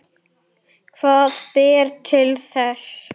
Hvað ber til þess?